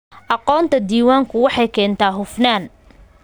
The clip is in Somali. Aqoonta diiwaanku waxay keentaa hufnaan.